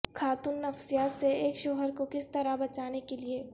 خاتون نفسیات سے ایک شوہر کو کس طرح بچانے کے لئے